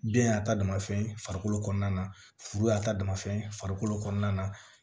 Den y'a ta dama fɛn ye farikolo kɔnɔna na furu y'a ta dama fɛn ye farikolo kɔnɔna na